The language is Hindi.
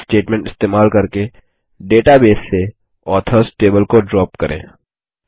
ड्रॉप स्टेटमेंट इस्तेमाल करके डेटाबेस से ऑथर्स टेबल को ड्रॉप करें